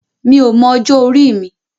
Mi ò mọ ọjọ́ orí mi.